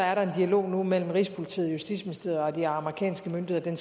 er der en dialog mellem rigspolitiet og justitsministeriet og de amerikanske myndigheder